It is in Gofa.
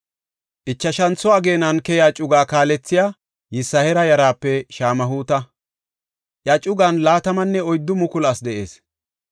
Ichashantho ageenan keyiya cugaa kaalethey Yisihaara yaraape Shamhuuta; iya cugan 24,000 asi de7ees.